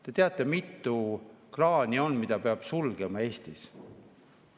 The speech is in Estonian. Te teate, mitu kraani on, mida peab sulgema Eestis?